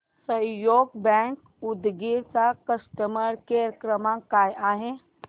सहयोग बँक उदगीर चा customer care क्रमांक काय आहे